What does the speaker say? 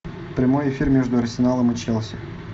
прямой эфир между арсеналом и челси